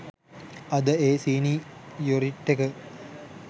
අද ඒ සීනි යොරිටි එක